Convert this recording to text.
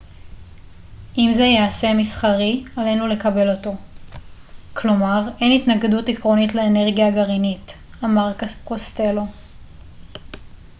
אם זה ייעשה מסחרי עלינו לקבל אותו כלומר אין התנגדות עקרונית לאנרגיה גרעינית אמר קוסטלו